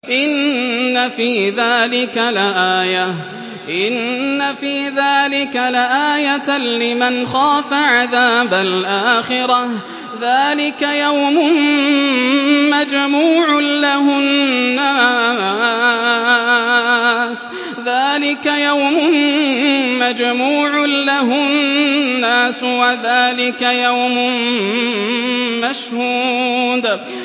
إِنَّ فِي ذَٰلِكَ لَآيَةً لِّمَنْ خَافَ عَذَابَ الْآخِرَةِ ۚ ذَٰلِكَ يَوْمٌ مَّجْمُوعٌ لَّهُ النَّاسُ وَذَٰلِكَ يَوْمٌ مَّشْهُودٌ